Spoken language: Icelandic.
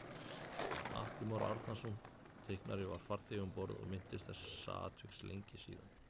Atli Már Árnason teiknari var farþegi um borð og minntist þessa atviks lengi síðan